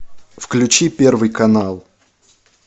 включи первый канал